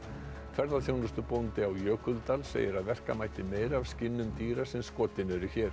ferðaþjónustubóndi á Jökuldal segir að verka mætti meira af skinnum dýra sem skotin eru hér